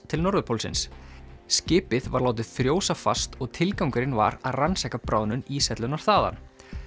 til norðurpólsins skipið var látið frjósa fast og tilgangurinn var að rannsaka bráðnun íshellunnar þaðan